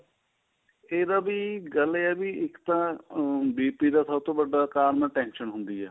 ਇਹਦਾ ਵੀ ਗੱਲ ਇਹ ਵੀ ਇੱਕ ਤਾਂ BP ਦਾ ਸਭ ਤੋ ਵੱਡਾ ਕਾਰਣ tension ਹੁੰਦੀ ਏ